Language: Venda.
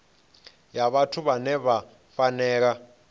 ya vhathu vhane vha fanela